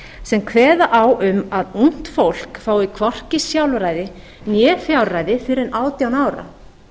sem kveða á um að ungt fólk fái hvorki sjálfræði né fjárræði fyrr en átján ára